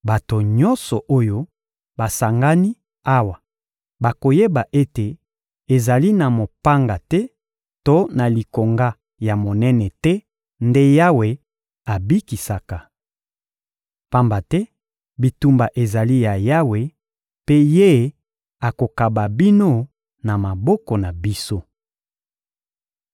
Bato nyonso oyo basangani awa bakoyeba ete ezali na mopanga te to na likonga ya monene te nde Yawe abikisaka. Pamba te bitumba ezali ya Yawe, mpe Ye akokaba bino na maboko na biso.